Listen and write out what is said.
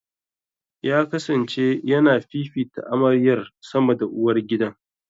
Ya kasance ya na fifita amaryar sama da uwar uwargidan.